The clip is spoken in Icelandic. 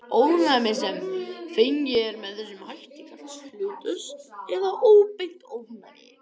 Ónæmi sem fengið er með þessum hætt kallast hlutlaust eða óbeint ónæmi.